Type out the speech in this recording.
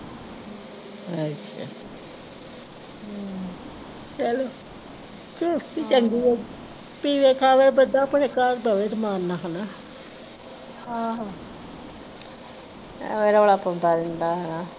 ਐਵੇਂ ਰੌਲਾ ਪਾਉਂਦਾ ਰਹਿੰਦਾ ਹਨਾਂ।